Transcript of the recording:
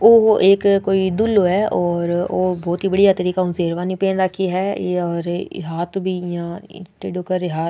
वो एक कोई दूल्हों है और बहुत बढ़िया तरीके हु शेरवानी पहन राखी है और हाथ भी इया टीड़ोे कर --